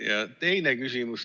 Ja teine küsimus.